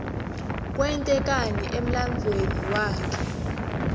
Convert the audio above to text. kwente kani emlanduuemi waklte